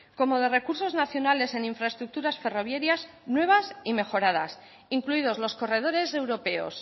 como de recursos nacionales en infraestructuras ferroviarias nuevas y mejoradas incluidos los corredores europeos